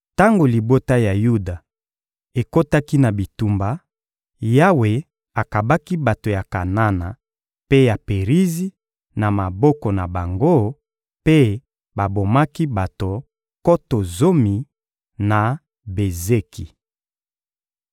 Tango libota ya Yuda ekotaki na bitumba, Yawe akabaki bato ya Kanana mpe ya Perizi na maboko na bango, mpe babomaki bato nkoto zomi, na Bezeki.